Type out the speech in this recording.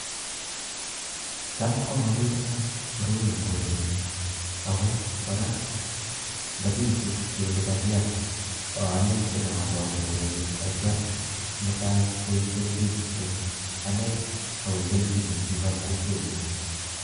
cham mapitunat koroi eng korenyu, ako kora ndapitu kele kakial, aale sinagol eng gorenyu atiam mutai koeg kelchin eng anee ak piik ap kokwenyu.